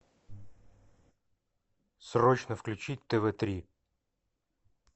срочно включить тв три